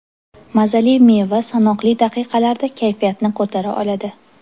Mazali meva sanoqli daqiqalarda kayfiyatni ko‘tara oladi.